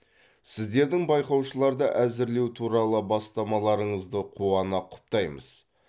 сіздердің байқаушыларды әзірлеу туралы бастамаларыңызды қуана құптаймыз